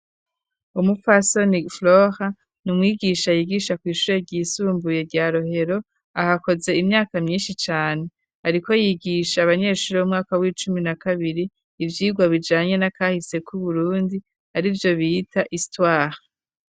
Umupfasoni flora n'umwigisha yigisha ku ishure ryisumbuye rya rohero ahakoze imyaka myinshi cane ariko yigisha abanyeshuri 'umwaka w'icumi na kabiri ivyigwa bijanye n'akahise k'uburundi ari byo bihita Istware.